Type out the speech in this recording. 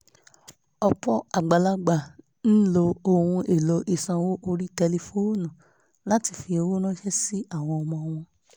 ọ̀pọ̀ àgbàlagbà ń lo ohun èlò ìsanwó orí tẹlifóònù láti fi owó ránṣẹ́ sí àwọn ọmọ wọn